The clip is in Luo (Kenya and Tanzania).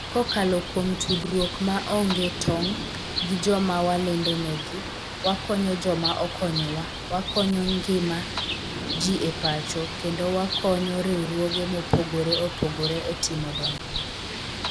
Kokalo kuom tudruok ma onge tong' gi joma walendonegi, wakonyo joma okonyowa, wakonyo ngima ji e pacho, kendo wakonyo riwruoge mopogore opogore e timo dongruok.